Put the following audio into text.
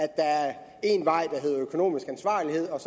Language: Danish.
der er én vej der hedder økonomisk ansvarlighed og